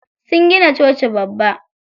Sun gina coci babba.